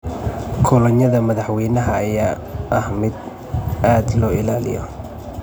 Kolonyada madaxweynaha ayaa ah mid aad loo ilaaliyo.